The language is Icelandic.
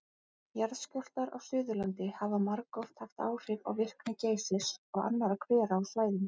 Jarðskjálftar á Suðurlandi hafa margoft haft áhrif á virkni Geysis og annarra hvera á svæðinu.